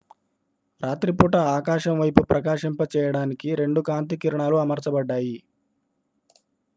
రాత్రిపూట ఆకాశం వైపు ప్రకాశింపచేయడానికి 2 కాంతి కిరణాలు అమర్చబడ్డాయి